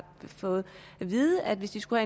fået at vide at hvis de skulle